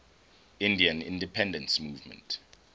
indian independence movement